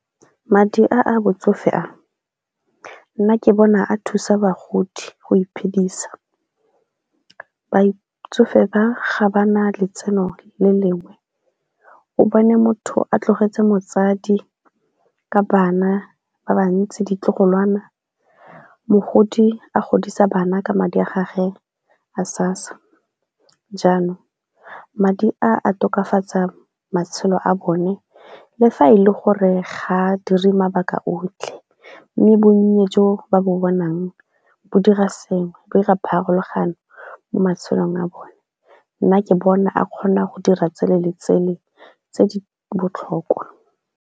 Madi a a botsofe a, nna ke bona a thusa bagodi go iphedisa. Batsofe ba ga ba na letseno le lengwe o bone motho a tlogetse motsadi ka bana ba ba ntsi ditlogolwana, mogodi a godisa bana ka madi a gage a SASSA jaanong madi a tokafatsa matshelo a bone le fa e le gore ga a dire mabaka otlhe mme bonnye jo ba bo bonang bo dira sengwe bo 'ira pharologano mo matshelong a bone. Nna ke bona a kgona go dira tsele le tsele tse di botlhokwa.